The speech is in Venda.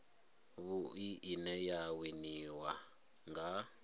vhui ine ya winiwa nga